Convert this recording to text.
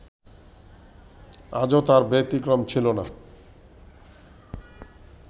আজও তার ব্যতিক্রম ছিলনা